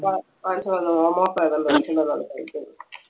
അടുത്തുള്ള എന്തോ പയറോ എന്തോ മേടിച്ചോണ്ട് വന്ന് അത് കഴിക്കുന്നു.